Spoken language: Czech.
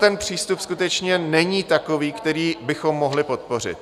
Ten přístup skutečně není takový, který bychom mohli podpořit.